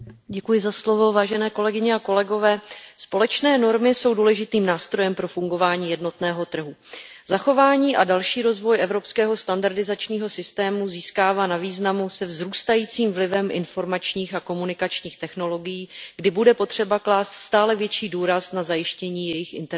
Pane předsedající, společné normy jsou důležitým nástrojem pro fungování jednotného trhu. Zachování a další rozvoj evropského standardizačního systému získává na významu se vzrůstajícím vlivem informačních a komunikačních technologií, kdy bude potřeba klást stále větší důraz na zajištění jejich interoperability.